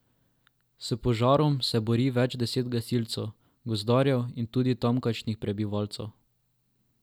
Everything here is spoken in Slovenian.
S požarom se bori več deset gasilcev, gozdarjev in tudi tamkajšnjih prebivalcev.